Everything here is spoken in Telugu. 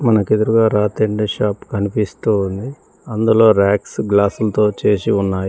మనకు ఎదురుగా షాప్ కనిపిస్తూ ఉంది. అందులో రాక్స్ గ్లాసులతో చేసి ఉన్నాయి.